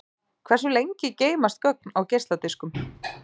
Hversu lengi geymast gögn á geisladiskum?